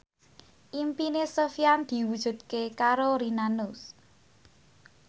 impine Sofyan diwujudke karo Rina Nose